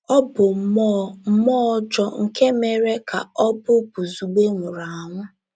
Ọ bụ mmụọ — mmụọ ọjọọ nke mere ka ọ̀ bụ Buzugbe nwụrụ anwụ.